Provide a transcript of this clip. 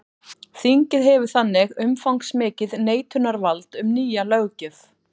Þingið hefur þannig umfangsmikið neitunarvald um nýja löggjöf.